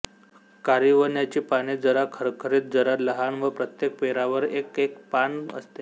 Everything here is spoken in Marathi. कारिवण्याची पाने जरा खरखरीत जरा लहान व प्रत्येक पेरावर एक एक पान असते